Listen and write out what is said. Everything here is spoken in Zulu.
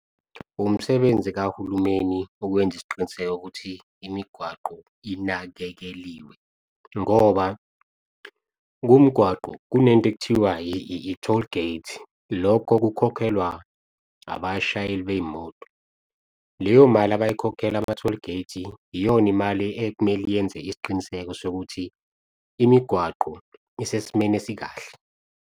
Umsebenzi kahulumeni ukwenza isiqiniseko ukuthi, imigwaqo inakekeliwe ngoba kumgwaqo kunento ekuthiwa i-tollgate. Lokho kukhokhelwa abashayeli bey'moto, leyo mali abayikhokhela ama-tollgate iyona imali ekumele yenze isiqiniseko sokuthi, imigwaqo isesimeni esikahle.